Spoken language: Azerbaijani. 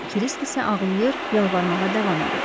Kirisk isə ağlayır, yalvarmağa davam edirdi.